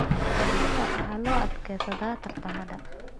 Fardaha waxaa loo adeegsadaa tartamada.